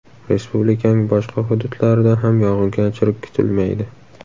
Respublikaning boshqa hududlarida ham yog‘ingarchilik kutilmaydi.